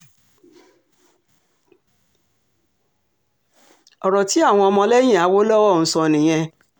ọ̀rọ̀ tí àwọn ọmọlẹ́yìn awolowo ń sọ nìyẹn